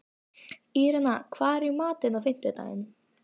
Írena, hvað er í matinn á fimmtudaginn?